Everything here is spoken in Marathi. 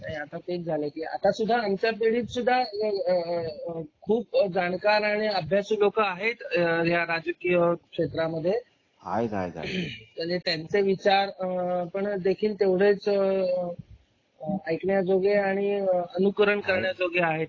तेच आमच्या पिढीत सुद्धा खूप जाणकर आणि अभ्यासू लोक आहेत राजकीय क्षेत्र मध्ये आहेत त्यांचे विचारपण देखील तेवढेच ऐकण्याजोगे आणि अनुकरण करण्याजोगे आहेत.